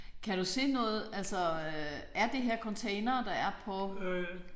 Kan du se noget altså er det her containere der er på?